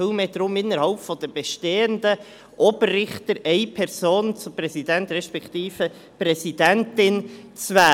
Vielmehr geht es darum, innerhalb der bestehenden Oberrichter eine Person zum Präsidenten respektive zur Präsidentin zu wählen.